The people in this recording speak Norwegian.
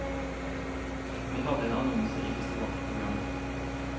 Vi hadde en annonse i festivalprogrammet.